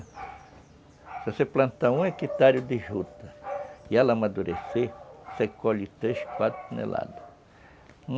Se você plantar um hectare de juta e ela amadurecer, você colhe três, quatro toneladas.